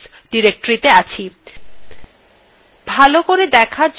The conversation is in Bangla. ভালো করে দেখার জন্য control lএর দ্বারা screen পরিস্কার করে নিন